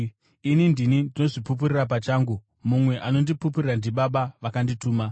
Ini ndini ndinozvipupurira pachangu; mumwe anondipupurira ndiBaba, vakandituma.”